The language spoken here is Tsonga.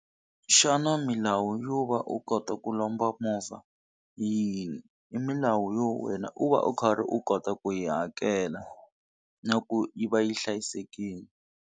Xana milawu yo va u kota ku lomba movha hi yini, i milawu yo wena u va u karhi u kota ku yi hakela na ku yi va yi hlayisekile.